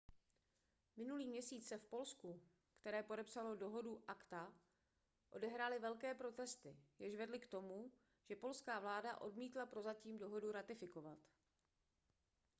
minulý měsíc se v polsku které podepsalo dohodu acta odehrály velké protesty jež vedly k tomu že polská vláda odmítla prozatím dohodu ratifikovat